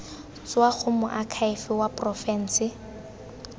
tswa go moakhaefe wa porofense